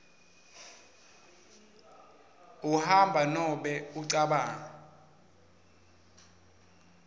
uhamba nobe ucabanga